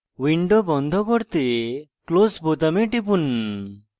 window বন্ধ করতে close বোতামে টিপুন